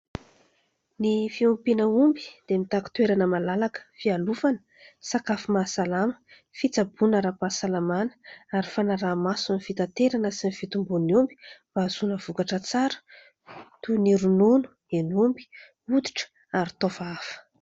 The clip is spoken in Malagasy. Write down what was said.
Ny fiompiana omby dia mitaky toerana malalaka, fialofana, sakafo mahasalama, fitsaboana ara-pahasalamana, ary fanaraha-maso ny fitaterana sy ny fitombon'ny omby mba ahazoana vokatra tsara toy ny : ronono, hen'omby, hoditra, ary taova hafa.